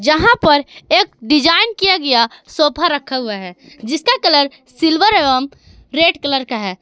यहां पर एक डिजाइन किया गया सोफा रखा हुआ है जिसका कलर सिल्वर एवं रेड कलर का है।